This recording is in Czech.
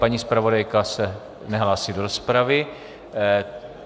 Paní zpravodajka se nehlásí do rozpravy.